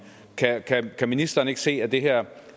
kan ministeren ikke se at det her